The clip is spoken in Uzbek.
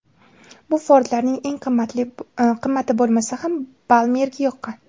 Bu Ford’larning eng qimmati bo‘lmasa ham Balmerga yoqqan.